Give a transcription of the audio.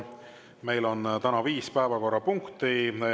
Meil on täna viis päevakorrapunkti.